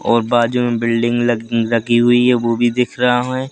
और बाजू में बिल्डिंग लग लगी हुई है वो भी दिख रहा हमें--